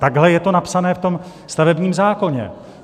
Takhle je to napsané v tom stavebním zákoně.